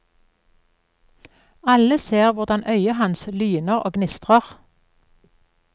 Alle ser hvordan øyet hans lyner og gnistrer.